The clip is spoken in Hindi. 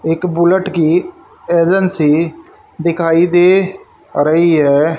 एक बुलेट की एजेंसी दिखाई दे रही है।